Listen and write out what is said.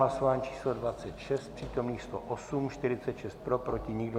Hlasování číslo 26, přítomných 108, 46 pro, proti nikdo.